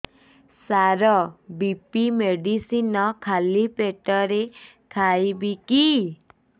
ସାର BP medicine ଖାଲି ପେଟରେ ଖାଇବି କି